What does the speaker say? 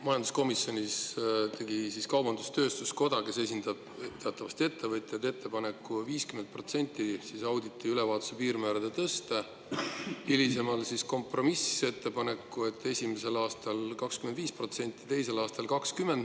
Majanduskomisjonis tegi kaubandus-tööstuskoda, kes esindab teatavasti ettevõtjaid, ettepaneku tõsta siseauditi ülevaatuse piirmäära 50% ning hilisema kompromissettepaneku: esimesel aastal 25% ja teisel aastal 20%.